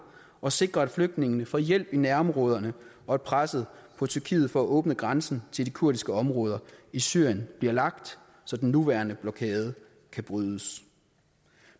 og sikrer at flygtningene får hjælp i nærområderne og at presset på tyrkiet for at åbne grænsen til de kurdiske områder i syrien bliver lagt så den nuværende blokade kan brydes